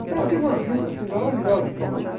Então eu tive uma vida, assim, maravilhosa em Salvador.